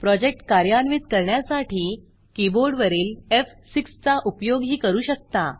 project कार्यान्वित करण्यासाठी कीबोर्डवरील एफ6 चा उपयोगही करू शकता